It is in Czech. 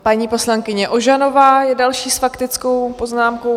Paní poslankyně Ožanová je další s faktickou poznámkou.